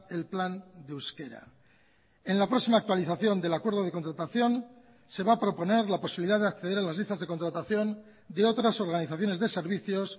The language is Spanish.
el plan de euskera en la próxima actualización del acuerdo de contratación se va a proponer la posibilidad de acceder a las listas de contratación de otras organizaciones de servicios